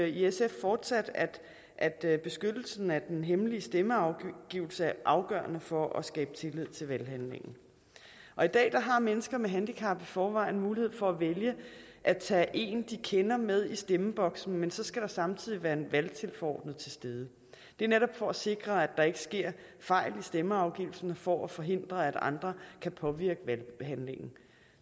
i sf fortsat at at beskyttelsen af den hemmelige stemmeafgivelse er afgørende for at skabe tillid til valghandlingen og i dag har mennesker med handicap i forvejen mulighed for at vælge at tage en de kender med i stemmeboksen men så skal der samtidig være en valgtilforordnet til stede det er netop for at sikre at der ikke sker fejl i stemmeafgivelsen og for at forhindre at andre kan påvirke valghandlingen